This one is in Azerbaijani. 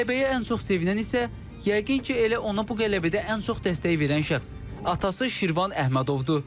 Qələbəyə ən çox sevinən isə yəqin ki, elə ona bu qələbədə ən çox dəstək verən şəxs atası Şirvan Əhmədovdur.